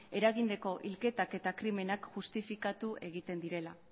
eragindako hilketak eta krimenak justifikatu egiten direla